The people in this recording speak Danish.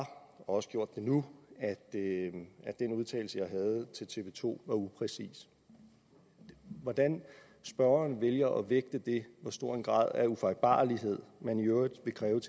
og har også gjort det nu at den udtalelse jeg havde til tv to var upræcis hvordan spørgeren vælger at vægte det hvor stor en grad af ufejlbarlighed man i øvrigt vil kræve